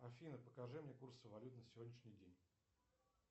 афина покажи мне курсы валют на сегодняшний день